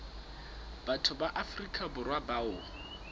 batho ba afrika borwa bao